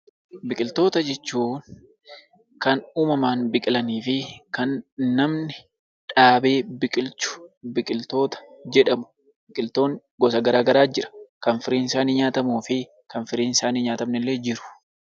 Biqiltoota jechuun kan uumamaan biqilanii fi kan namni dhaabee biqilchu biqiltoota jedhamu. Biqiltoonni gosa garaa garaatu jiru. Kan firiinsaanii nyaatamuu fi kan firiinsaanii hin nyaatamne illee jiru.